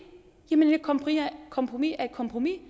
et kompromis er et kompromis